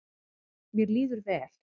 Mér líður vel.